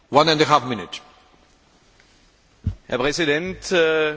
Herr Präsident, geehrte Herren Kommissare, liebe Kolleginnen und Kollegen!